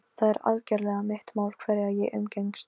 Áður en ég sæki son konunnar í skólann.